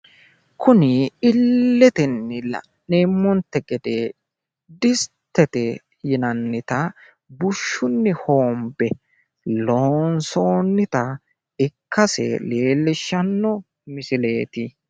Kuni illetenni la'neemmonte gede distete yinannita bushshunni hoombe loonsoonnita ikkase leellishshanno misileeti.